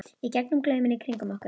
í gegnum glauminn í kringum okkur.